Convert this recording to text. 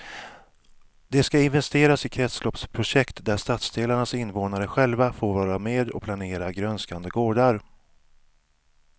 Det ska investeras i kretsloppsprojekt där stadsdelarnas invånare själva får vara med och planera grönskande gårdar.